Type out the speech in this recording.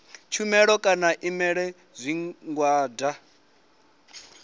shumela kana u imela zwigwada